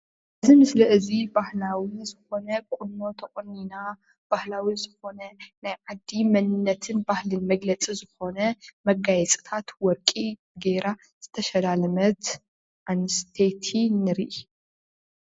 እዚ ምስሊ እዚ ባህላዊ ዝኾነ ቁኖ ተቖኒና ባህላዊ ዝኾነ ናይ ዓዲ መንነትን ባህልን መግለፂ ዝኾነ መጋየፅታት ወርቂ ጌራ ዝተሸላለመት ኣንስተይቲ ንርኢ፡፡